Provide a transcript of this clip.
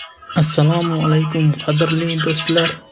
Assalomu alaykum, qadrli do‘stlar!